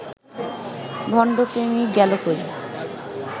ভণ্ড প্রেমিক গেলো কই